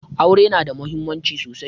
Aure na da muhimmanci sosai